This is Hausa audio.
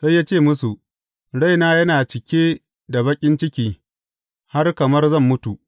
Sai ya ce musu, Raina yana cike da baƙin ciki har kamar zan mutu.